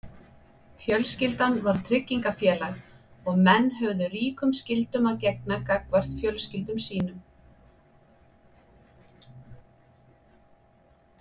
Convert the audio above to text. fjölskyldan var tryggingafélag og menn höfðu ríkum skyldum að gegna gagnvart fjölskyldum sínum